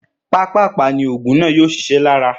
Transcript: Pápàpá ni ògùn náà yóò sisé lára